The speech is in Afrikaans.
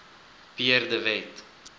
pierre de wet